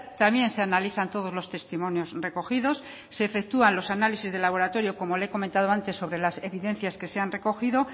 también se analizan todos los testimonios recogidos se efectúan los análisis de laboratorio como le he comentado antes sobre las evidencias que se han recogido